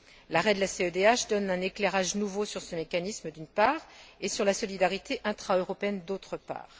L'arrêt de la CEDH donne un éclairage nouveau sur ce mécanisme, d'une part, et sur la solidarité intraeuropéenne, d'autre part.